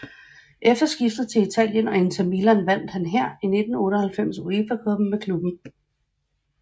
Efter skiftet til Italien og Inter Milan vandt han her i 1998 UEFA Cuppen med klubben